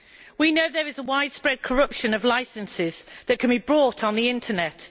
We know there is widespread corruption with licences that can be bought on the Internet.